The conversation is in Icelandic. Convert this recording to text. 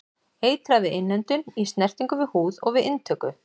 Eitrað við innöndun, í snertingu við húð og við inntöku.